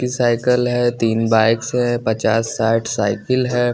Cycle है तीन bikes है पचास साइड साइकिल है।